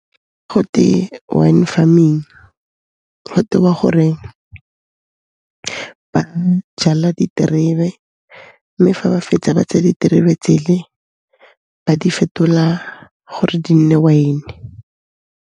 Gote wine farming, go tewa gore ba jala diterebe, mme fa ba fetsa ba tsaya diterebe tse le ba di fetola gore di nne wine.